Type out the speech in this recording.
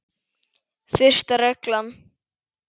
Fyrsta reglan.